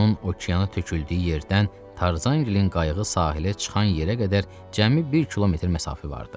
Onun okeana töküldüyü yerdən Tarzanqlin qayığı sahilə çıxan yerə qədər cəmi bir kilometr məsafə vardı.